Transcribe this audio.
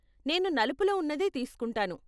నేను నలుపులో ఉన్నదే తీస్కుంటాను.